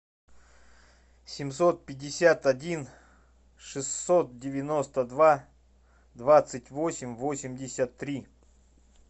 семьсот пятьдесят один шестьсот девяносто два двадцать восемь восемьдесят три